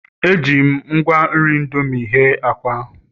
Eji m ngwa nri indomie hee akwa